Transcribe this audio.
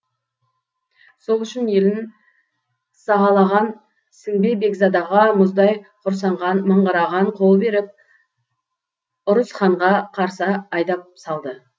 сол үшін елін сағалаған сіңбе бекзадаға мұздай құрсанған мыңғырған қол беріп ұрыс ханға қарсы айдап салды